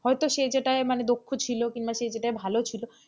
হয়তো সে যেটাই মানে দক্ষ ছিল কিংবা সে যেটাই ভালো ছিল,